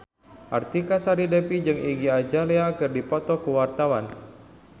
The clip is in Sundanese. Artika Sari Devi jeung Iggy Azalea keur dipoto ku wartawan